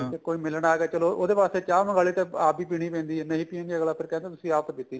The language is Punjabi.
ਠੀਕ ਏ ਕੋਈ ਮਿਲਣ ਆ ਗਿਆ ਚਲੋ ਉਹਦੇ ਵਾਸਤੇ ਚਾਹ ਮੰਗਾ ਲੀ ਤਾਂ ਆਪ ਵੀ ਪੀਣੀ ਪੈਂਦੀ ਏ ਨਾ ਨਹੀਂ ਪੀਤੀ ਤਾ ਅੱਗਲਾ ਫੇਰ ਕਹਿੰਦਾ ਤੁਸੀਂ ਆਪ ਤਾਂ ਪੀਤੀ ਨੀ